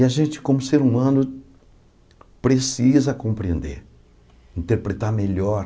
E a gente, como ser humano, precisa compreender, interpretar melhor